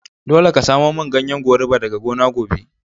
Dolle ka samo mun ganyen goruba daga gona gobe.